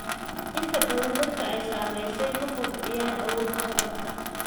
Inta badan dadka ay saamaysay ma kobciyaan awoodda hadalka.